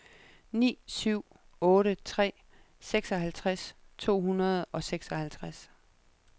ni syv otte tre seksoghalvtreds to hundrede og seksoghalvtreds